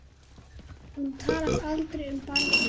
Hún talar aldrei um barnið.